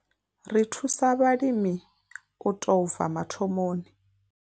Ri thusa vhalimi u tou bva mathomoni.